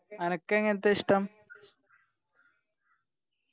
അനക്ക് എങ്ങൻത്തെയാ ഇഷ്ട്ടം